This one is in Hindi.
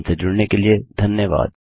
हमसे जुड़ने के लिए धन्यवाद